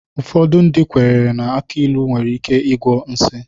Ụfọdụ ndị kwenyere na aki ilu nwere ike ịgwọ nsi.